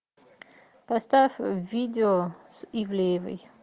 поставь видео с ивлеевой